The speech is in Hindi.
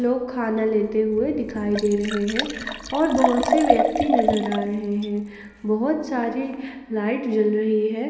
लोग खाना लेते हुए दिखाई दे रहे हैं और बहुत से व्यक्ति नजर आ रहे हैं बहुत सारे लाइट जल रही है।